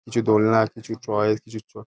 কিছু দোলনা কিছু চড়াই-এর কিছু চ --